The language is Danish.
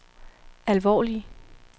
alvorlige